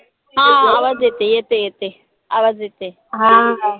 हा आवाज येते येते येते आवाज येते. हा